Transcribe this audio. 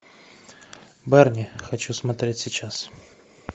барни хочу смотреть сейчас